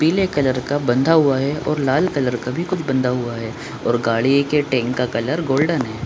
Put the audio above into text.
पीले कलर का बंधा हुआ है और लाल कलर का भी कुछ बंधा हुआ है और गाड़िये का टैंक का कलर गोल्डन है।